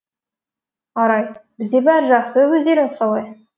арай бізде бәрі жақсы өздеріңіз қалай